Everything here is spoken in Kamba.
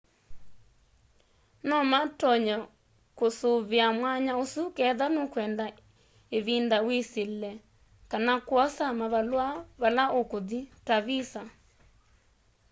no matonye kũũsũvĩa mwanya ũsũ ketha nũkwenda ĩvĩnda wĩsyĩle kana kwosa mavalũa mavala ũkũthĩ. ta vĩsa